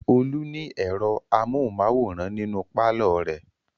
Olú ní ẹ̀rọ amóhùmáwòhán nínú pálọ̀ rẹ̀.